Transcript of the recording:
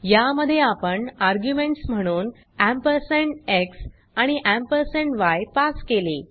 या मध्ये आपण आर्ग्युमेंट्स म्हणून एम्परसँड एक्स आणि एम्परसँड य पास केले